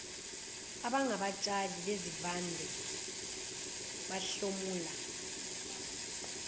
abangabatshali bezivande bahlomula